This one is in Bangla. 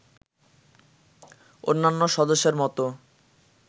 অন্যান্য সদস্যের মতো